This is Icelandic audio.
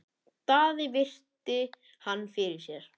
Daði virti hann fyrir sér.